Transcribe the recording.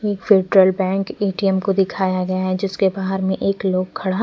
एक bank ATM को दिखाया गया है जिसके बाहर में एक लोग खड़ा--